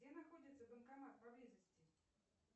где находится банкомат поблизости